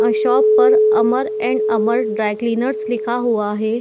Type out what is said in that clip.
आ shop पर Amar and Amar dry cleaners लिखा हुआ हैं।